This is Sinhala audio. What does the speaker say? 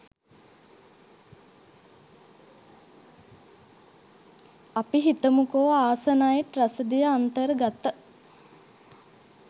අපි හිතමුකෝ ‍ආසනයිට් රසදිය අන්තර්ගත